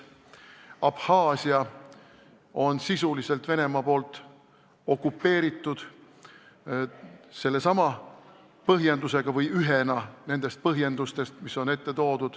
Abhaasia on sisuliselt Venemaa poolt okupeeritud, ja seda sellesama põhjendusega või vähemalt oli see üks põhjendustest.